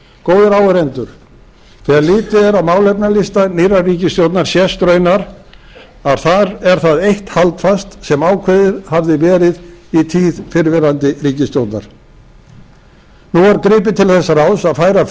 góðir áheyrendur þegar litið er á málefnalista nýrrar ríkisstjórnar sést raunar að þar er það eitt haldfast sem ákveðið hafði verið í tíð fyrrverandi ríkisstjórnar nú er gripið til þess ráðs að færa